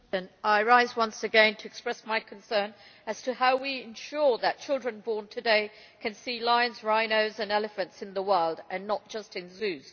Mr President, I rise once again to express my concern as to how we ensure that children born today can see lions, rhinos and elephants in the wild and not just in zoos.